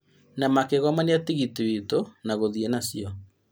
Na makĩgomania tigiti witũ na gũthiĩ na cio